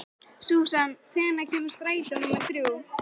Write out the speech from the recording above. Susan, hvenær kemur strætó númer þrjú?